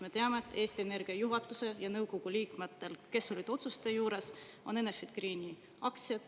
Me teame, et Eesti Energia juhatusel ja nõukogu liikmetel, kes olid otsuste juures, on Enefit Greeni aktsiad.